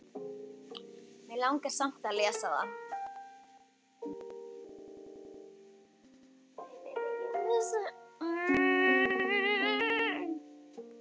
Mig langar samt að lesa það.